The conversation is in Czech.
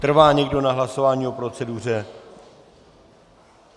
Trvá někdo na hlasování o proceduře?